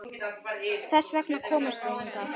Þess vegna komum við hingað.